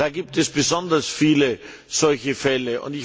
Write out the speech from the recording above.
Da gibt es besonders viele solche Fälle.